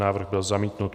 Návrh byl zamítnut.